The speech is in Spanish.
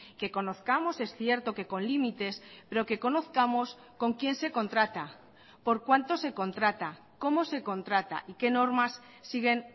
que conozcamos es cierto que con límites pero que conozcamos con quién se contrata por cuánto se contrata cómo se contrata y qué normas siguen